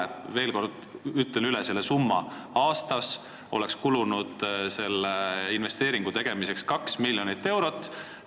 Ütlen veel kord selle summa: aastas oleks selle investeeringu tegemiseks kulunud 2 miljonit eurot.